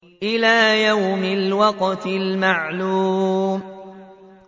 إِلَىٰ يَوْمِ الْوَقْتِ الْمَعْلُومِ